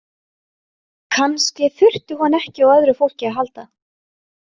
Kannski þurfti hún ekki á öðru fólki að halda.